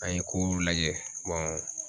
An ye kow lajɛ